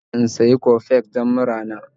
Ina so in sayi Coffex don murana.